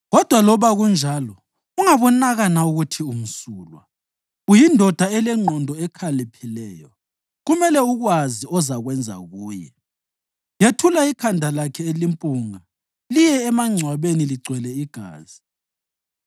Kodwa loba kunjalo ungabonakana ukuthi umsulwa. Uyindoda elengqondo ekhaliphileyo, kumele ukwazi ozakwenza kuye. Yethula ikhanda lakhe elimpunga liye emangcwabeni ligcwele igazi.”